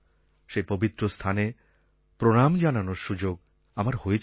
সেই পবিত্র স্থানে প্রণাম জানানোর সুযোগ আমার হয়েছিল